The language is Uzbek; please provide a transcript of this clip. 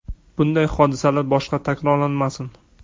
Bunday hodisalar boshqa takrorlanmasin.